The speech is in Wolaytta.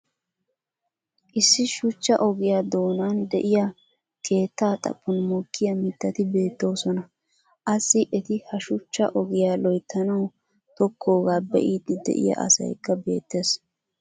issi shuchcha ogiya doonanni diya keetaa xaphon mokkiya mitati beetoosona. assi eti ha shuchcha ogiyaa loyttanawu tokoogaa be'iidi diya asaykka beetees.